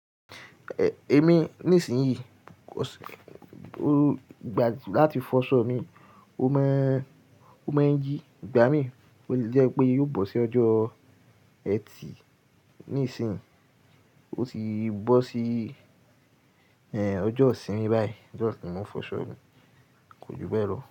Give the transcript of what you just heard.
Ẹ̀, èmi ní ìsìn yìí, ọ̀ sí, ó gbà láti fọṣọ mi, ó mọ́, ó mọ̀ ń yí, igbá mi. Ó lẹ́ pé yóò bọ́ sí ọjọ́ Ẹtì. Nísìnyí, ó ti bọ́ sí, ẹ́, ọjọ́ ìsìn mi báyìí. Ọjọ́ tí mo ń fọṣọ mi. Kò ju bẹ́ẹ̀ lọ.